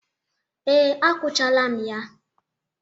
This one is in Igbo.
Ee, akwụchala m ya.